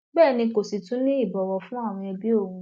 bẹẹ ni kò sì tún ní ìbọwọ fún àwọn ẹbí òun